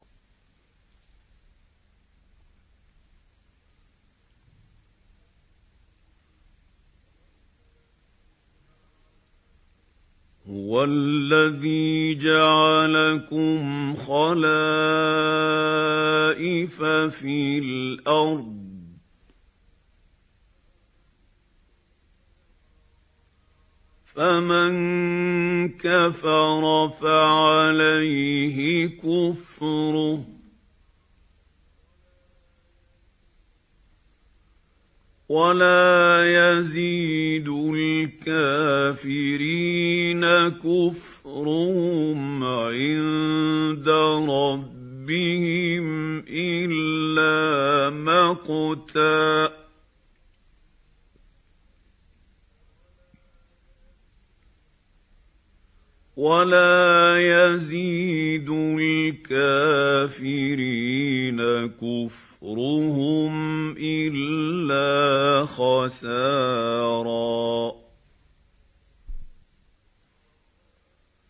هُوَ الَّذِي جَعَلَكُمْ خَلَائِفَ فِي الْأَرْضِ ۚ فَمَن كَفَرَ فَعَلَيْهِ كُفْرُهُ ۖ وَلَا يَزِيدُ الْكَافِرِينَ كُفْرُهُمْ عِندَ رَبِّهِمْ إِلَّا مَقْتًا ۖ وَلَا يَزِيدُ الْكَافِرِينَ كُفْرُهُمْ إِلَّا خَسَارًا